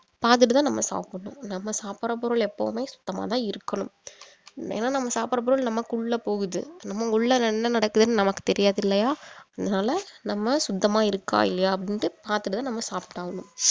பாத்துட்டு தான் நம்ம சாப்பிடணும் நம்ம சாப்பிடுற பொருள் எப்பவுமே சுத்தமா தான் இருக்கணும் ஏன்னா நம்ம சாப்பிடுற பொருள் நமக்குள்ள போகுது நம்ம உள்ள என்ன நடக்குதுன்னு நமக்கு தெரியாது இல்லையா அதனால நம்ம சுத்தமா இருக்கா இல்லையா அப்படின்னுட்டு பாத்துட்டு தான் நம்ம சாப்பிட்டாவணும்